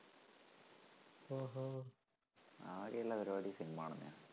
ആകെയുള്ള പരിപാടി സിനിമ കാണണ തന്നെയാ.